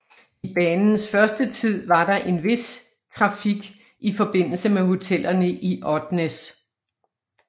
I banens første tid var der en vis trafik i forbindelse med hotellerne i Odnes